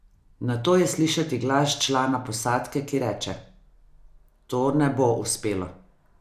Nato je slišati glas člana posadke, ki reče: "To ne bo uspelo".